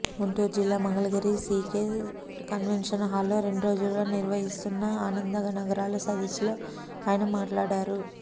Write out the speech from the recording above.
గుంటూరు జిల్లా Mangalagiri CK convention హాల్లో రెండ్రోజులుగా నిర్వహిస్తున్న ఆనందనగరాల సదస్సులో ఆయన మాట్లా డారు